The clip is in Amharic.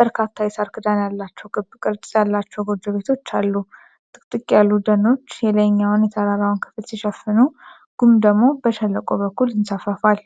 በርካታ የሣር ክዳን ያላቸው ክብ ቅርጽ ያላቸው ጎጆ ቤቶች አሉ። ጥቅጥቅ ያሉ ደኖች የላይኛውን የተራራውን ክፍል ሲሸፍኑ፣ ጉም ደግሞ በሸለቆው በኩል ይንሳፈፋል።